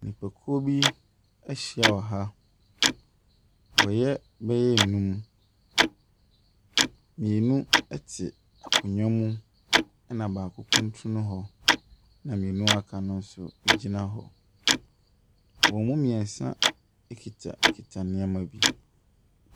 Nnipakuo bi ahyia wɔ ha, wɔyɛ bɛyɛ nnum. Mmienu ɛte akonnwa so, ɛna baako kuntunu hɔ, na mmienu aka no nso agyina hɔ. Wɔn mu mmiɛnsa akitakita nneɛma bi.